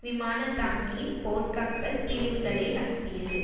விமானந்தாங்கி போர்க்கப்பல் பிரிவுகளை அனுப்பியது